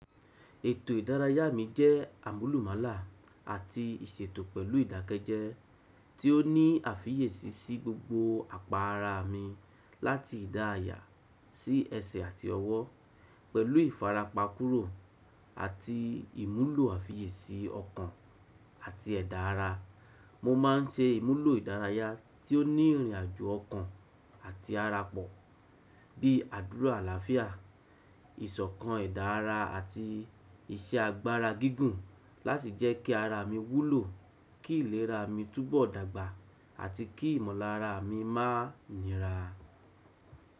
Ètò ìdárayá mi jẹ́ àmúlùmálà àti ìṣètò pẹ̀lú ìdákẹ́jẹ́, tí ó ní àfiyèsí sí gbogbo apa ara mi, láti ìdá aya sí ẹsẹ̀ àti ọwọ́, pẹ̀lú ìfarapa kúrò àti ìmúlò àfiyèsí ọkàn àti ẹ̀dá ara. Mo má n ṣe ìmúlò ìdárayá tí ó ní ìrìnàjò ọkàn àti ara pọ̀, bíi àdúrà àlàáfíà, ìsọ̀kan ẹ̀dá ara àti iṣẹ́ agbára gígùn láti jẹ́ kí ara mi wúlò, kí ìlera mi túbọ̀ dàgbà àti kí ìmọ̀lára mi má nira.